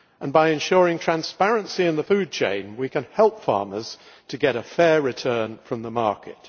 By ensuring transparency in the food chain, we can help farmers to get a fair return from the market.